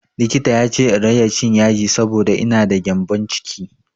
Likita ya ce in rage cin yaji saboda ina da gyambon ciki.